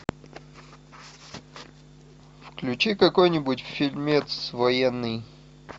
включи какой нибудь фильмец военный